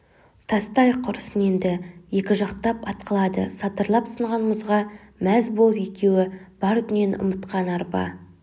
тастайық құрысын енді екі жақтап атқылады сатырлап сынған мұзға мәз болып екеуі бар дүниені ұмытқан арба